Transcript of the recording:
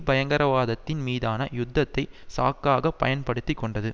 பயங்கரவாதத்தின் மீதான யுத்தத்தை சாக்காகப் பயன்படுத்தி கொண்டது